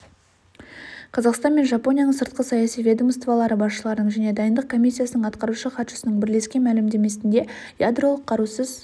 қазақстан мен жапонияның сыртқы саяси ведомстволары басшыларының және дайындық комиссиясының атқарушы хатшысының бірлескен мәлімдемесінде ядролық қарусыз